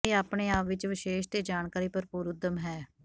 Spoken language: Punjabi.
ਇਹ ਆਪਣੇ ਆਪ ਵਿੱਚ ਵਿਸ਼ੇਸ਼ ਤੇ ਜਾਣਕਾਰੀ ਭਰਪੂਰ ਉੱਦਮ ਹੈ